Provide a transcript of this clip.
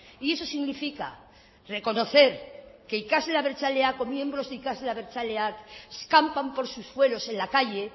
y eso significa reconocer que ikasle abertzaleak o miembros de ikasle abertzaleak campan por sus suelos en la calle